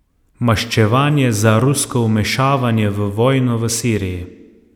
Maščevanje za rusko vmešavanje v vojno v Siriji.